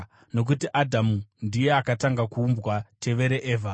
Nokuti Adhamu ndiye akatanga kuumbwa, tevere Evha.